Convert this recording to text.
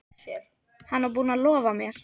Hann var búinn að lofa mér.